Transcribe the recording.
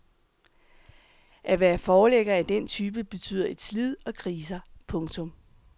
At være forlægger af den type betyder et slid og kriser. punktum